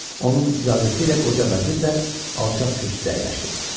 Onun icazəsi ilə qoca vəzir də alçaq kürsüdə əyləşdi.